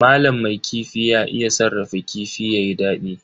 Malam mai kifi ya iya sarrafa kifi yayi dadi.